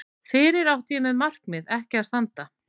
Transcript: Fyrir mér átti markið ekki að standa.